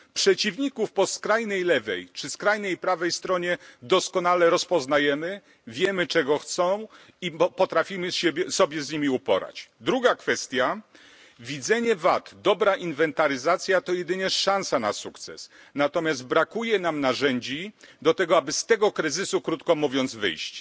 Przeciwników po skrajnej lewej, czy skrajnej prawej stronie doskonale rozpoznajemy, wiemy czego chcą i potrafimy się z nimi uporać. Druga kwestia to widzenie wad. Dobra inwentaryzacja to jedynie szansa na sukces. Natomiast brakuje nam narzędzi do tego, aby z tego kryzysu, krótko mówiąc, wyjść.